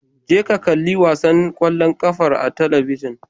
Je ka ka kalli wasan ƙwallon ƙafar a talabijin.